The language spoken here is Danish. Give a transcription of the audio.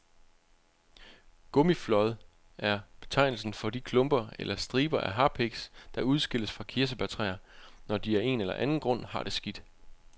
Gummiflåd er betegnelsen for de klumper eller striber af harpiks, der udskilles fra kirsebærtræer, når de af en eller anden grund har det skidt.